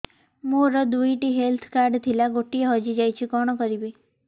ମୋର ଦୁଇଟି health card ଥିଲା ଗୋଟିଏ ହଜି ଯାଇଛି କଣ କରିବି